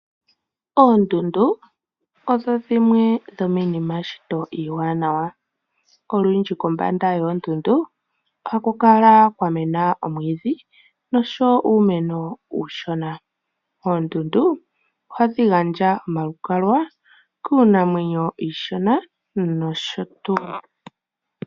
Oondundu odho dhimwe dhomiinima yeshito iiwanawa. Olundji kombanda yoondundu ohaku kala kwa mena omwiidhi nosho wo uumeno uushona. Oondundu ohadhi gandja omalukalwa kiinamwenyo iishona nosho tuu.